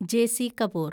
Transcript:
JC. Kapoor